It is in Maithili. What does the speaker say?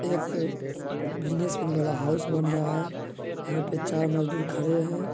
एक बिजनेस वाला हाउस बन रहा है। यहाँ पे चार मजदूर खड़े हैं।